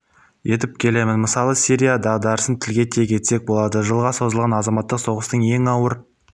етіп келеміз мысалы сирия дағдарысын тілге тиек етсек болады жылға созылған азаматтық соғыстың ең ауыр